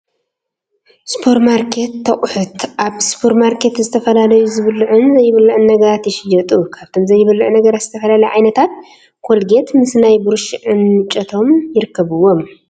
ሱፐርማርኬት ኣቑሑት፡- ኣብ ሱፐርማርኬት ዝተፈላለዩ ዝብለዑን ዘይብልዑን ነገራት ይሽየጡ፡፡ ካብቶም ዘይብልዑ ነገራት ዝተፈላለዩ ዓይነታት ኮልጌት ምስ ናይ ቡሩሽ ዕንጨቶም ይርከብዎም፡፡